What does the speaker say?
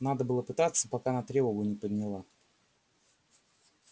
надо было пытаться пока она тревогу не подняла